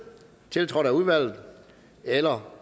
tiltrådt af udvalget eller